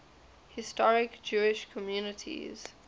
historic jewish communities